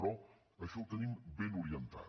però això ho tenim ben orientat